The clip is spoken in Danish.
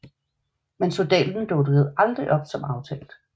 Men soldaten dukkede aldrig op som aftalt